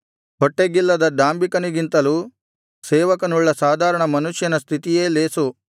ಹೊಟ್ಟೆಗಿಲ್ಲದ ಡಾಂಭಿಕನಿಗಿಂತಲೂ ಸೇವಕನುಳ್ಳ ಸಾಧಾರಣ ಮನುಷ್ಯನ ಸ್ಥಿತಿಯೇ ಲೇಸು